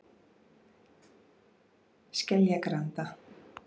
Skeljagranda